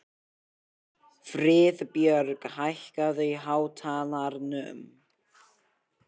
Friðbjörg, hækkaðu í hátalaranum.